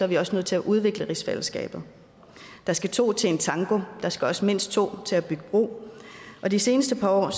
vi også nødt til at udvikle rigsfællesskabet der skal to til en tango og der skal også mindst to til at bygge bro de seneste par år har